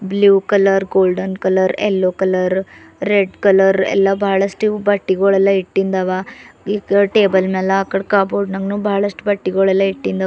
blue colour golden colour yellow colour red colour ಎಲ್ಲಾ ಬಹಳಸ್ಟ್ ಇವು ಬಟ್ಟಿಗುಳೆಲ್ಲ ಇಟ್ಟಿಂದ್ ಅವ ಇಕಡ್ ಟೇಬಲ್ ಮ್ಯಾಲ ಅಕಡ್ ಕಪಬೋರ್ಡ್ ನಂಗು ಬಹಳಸ್ಟ್ ಬಟ್ಟಿಗುಳೆಲ್ಲ ಇಟ್ಟಿಂದ್--